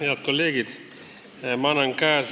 Head kolleegid!